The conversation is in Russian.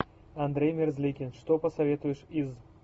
андрей мерзликин что посоветуешь из